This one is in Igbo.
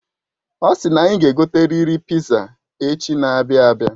Osi na anyị ga egoteriri piza echi n'abia abia